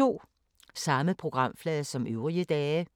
Samme programflade som øvrige dage